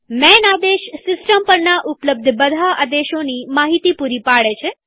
માન આદેશ સિસ્ટમ પરના ઉપલબ્ધ બધા આદેશોની માહિતી પૂરી પાડે છે